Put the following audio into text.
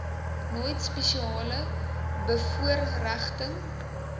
nooit spesiale bevoorregting